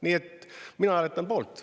Nii et mina hääletan poolt.